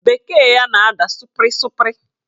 Bekee ya na-ada sụpịrị sụpịrị